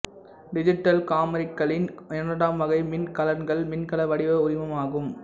digital காமிராக்களின் இரண்டாம் வகை மின் கலன்கள் மின்கல வடிவ உரிமமாகும்